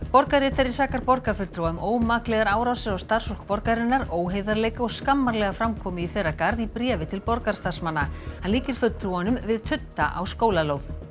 borgarritari sakar borgarfulltrúa um ómaklegar árásir á starfsfólk borgarinnar óheiðarleika og skammarlega framkomu í þeirra garð í bréfi til hann líkir fulltrúunum við tudda á skólalóð